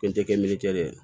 Fɛn tɛ kɛ miiri le la